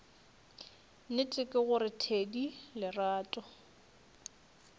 nnete ke gore thedi lerato